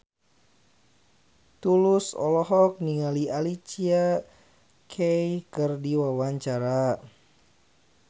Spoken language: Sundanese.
Tulus olohok ningali Alicia Keys keur diwawancara